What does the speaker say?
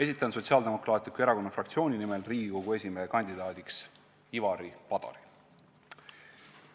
Esitan Sotsiaaldemokraatliku Erakonna fraktsiooni nimel Riigikogu esimehe kandidaadiks Ivari Padari.